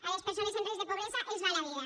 a les persones en risc de pobresa els va la vida